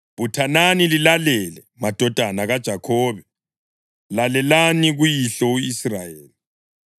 Buthanani lilalele, madodana kaJakhobe, lalelani kuyihlo u-Israyeli.